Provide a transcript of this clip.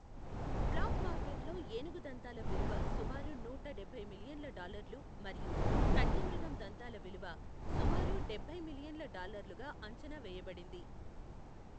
Black మార్కెట్లో ఏనుగు దంతాల విలువ సుమారు నూట డబ్బై మిలియన్ల డాలర్లు మరియు ఖడ్గమృగం దంతాల విలువ సుమారు డబ్బై మిలియన్ల డల్లర్లుగా అంచనా వేయబడింది.